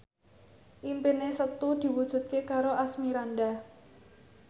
impine Setu diwujudke karo Asmirandah